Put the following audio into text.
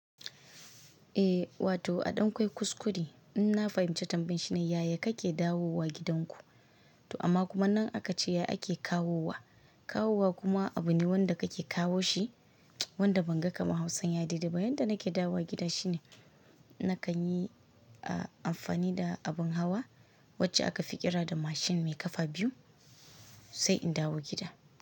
Eh wato a ɗan kwai kuskure in na fahimci tambayinsa. Yaya kake dawowa gidanku? To amma kuma nan aka ce ya ake kawowa. Kawowa kuma abu ne wanda kake kawo shi wanda ban ga kamar Hausa ya dede ba. Yanda nake dawo wa gida shine nakan yi amfani da abin hawa wacce aka fi ƙira da mashin mai kafa biyu sai in dawo gida.